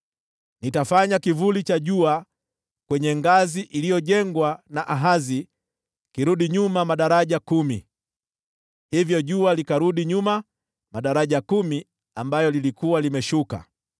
Nitafanya kivuli cha jua kwenye ngazi iliyojengwa na Ahazi kirudi nyuma madaraja kumi.’ ” Hivyo jua likarudi nyuma madaraja kumi ambayo lilikuwa limeshuka.